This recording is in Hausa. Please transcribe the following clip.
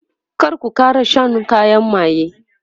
kar ku Kara Shan kayan maye!